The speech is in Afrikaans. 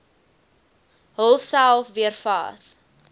hulsel weer vas